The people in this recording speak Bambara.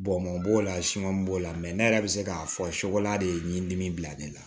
Bɔn man b'o la siman b'o la ne yɛrɛ bɛ se k'a fɔ sogola de ye nin dimi bila ne la